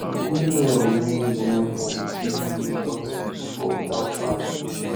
yu go grow well wen yu learn from di shege wey yu don see bifor witout panic